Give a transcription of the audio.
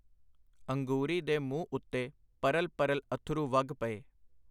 ਅੰਗੂਰੀ ਦੇ ਮੂੰਹ ਉੱਤੇ ਪਰਲ ਪਰਲ ਅੱਥਰੂ ਵਗ ਪਏ.